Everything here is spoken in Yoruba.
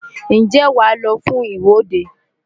Ǹjẹ́ wàá lọ fún ìwọ́de?